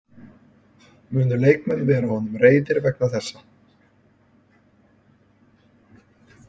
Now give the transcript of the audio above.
Munu leikmenn vera honum reiðir vegna þessa?